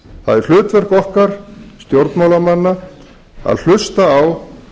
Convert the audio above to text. það er hlutverk okkar stjórnmálamanna að hlusta á